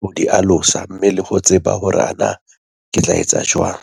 ho di alosa, mme le ho tseba hore ana ke tla etsa jwang.